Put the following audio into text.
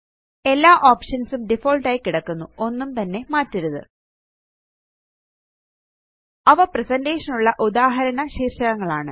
എല്ലാ ഓപ്ഷൻസ് ഉം ഡിഫാൾട്ട് ആയി കിടക്കുന്നുഒന്നും തന്നെ മാറ്റരുത് അവ പ്രസന്റേഷൻ നുള്ള ഉദാഹരണ ശീര്ഷകങ്ങളാണ്